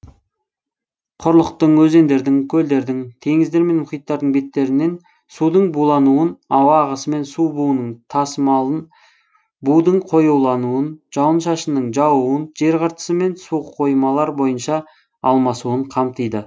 құрлықтың өзендердің көлдердің теңіздер мен мұхиттардың беттерінен судың булануын ауа ағысымен су буының тасымалын будың қоюлануын жауын шашынның жаууын жер қыртысы мен суқоймалар бойынша алмасуын қамтиды